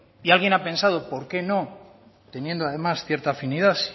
y alguien ha pensado por qué no teniendo además cierta afinidad